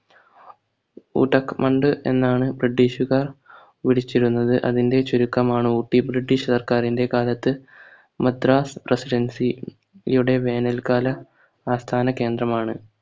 ഊട്ടക് മണ്ഡ് എന്നാണ് british കാർ വിളിച്ചിരുന്നത് അതിൻറെ ചുരുക്കമാണ് ഊട്ടി british കാർക്ക് അതിൻറെ കാലത്ത് madras presidency യുടെ വേനൽക്കാല ആസ്ഥാന കേന്ദ്രമാണ്